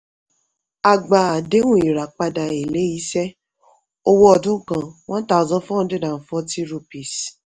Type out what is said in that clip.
a gba àdéhùn ìràpadà èlé-iṣẹ́ owó ọdún kan 1440 rupees.